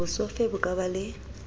bosofe bo ka ba le